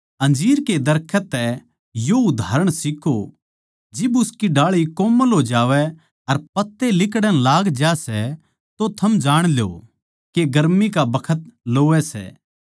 अंजीर के दरखत तै यो उदाहरण सीक्खो जिब उसकी डाळी कोमल हो जावै अर पत्ते लिकड़ण लाग ज्या सै तो थम जाण ल्यो के गर्मी का बखत लोवै सै